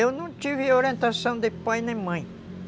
Eu não tive orientação de pai nem mãe.